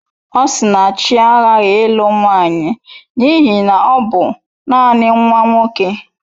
Osinachi aghaghị ịlụ nwanyị n'ihi na ọ bụ nanị nwa nwoke.